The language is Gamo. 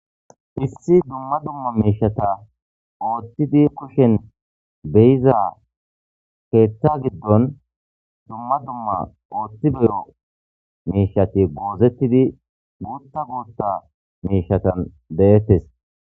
Issi dumma dumma meeshata ooththidi kushen beyiza keeththa giddon dumma dumma ooththi beyo meshati goozettidi guutta guutta meshatan deettes.